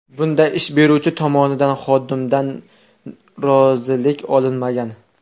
Bunda ish beruvchi tomonidan xodimdan rozilik olinmagan.